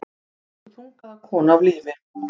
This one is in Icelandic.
Tóku þungaða konu af lífi